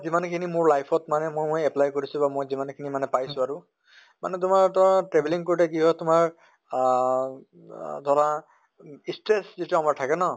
যমান খিনি মোৰ life ত মানে মই apply কৰিছো বা মই যিমান খিনি পাইছো আৰু মানে তোমাৰ ধৰা travelling কৰোতে কি হয় তোমাৰ আহ আ ধৰা stress যিটো আমাৰ থাকে ন